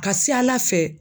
Ka se Ala fɛ